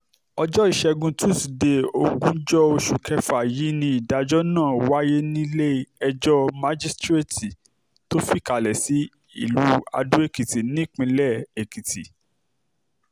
ọjọ́ ìṣẹ́gun túṣídéé ogúnjọ́ oṣù kẹfà yìí ni ìdájọ́ náà wáyé nílẹ̀-ẹjọ́ májísréètì tó fìkàlẹ̀ sí ìlú ado-ekìtì nípìnlẹ̀ èkìtì